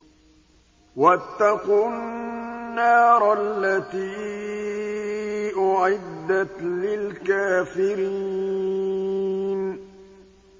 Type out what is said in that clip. وَاتَّقُوا النَّارَ الَّتِي أُعِدَّتْ لِلْكَافِرِينَ